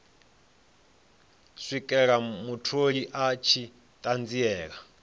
swikela mutholi a tshi ṱanziela